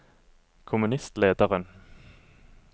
kommunistlederen